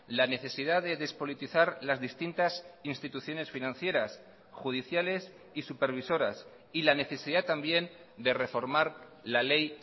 la necesidad de despolitizar las distintas instituciones financieras judiciales y supervisoras y la necesidad también de reformar la ley